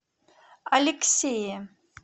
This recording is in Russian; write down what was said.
алексее